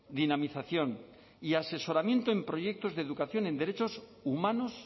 dinamización y asesoramiento en proyectos de educación en derechos humanos